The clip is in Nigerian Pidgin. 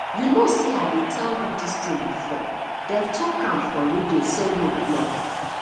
you know say i tell you dis thing before dey talk am for radio say road block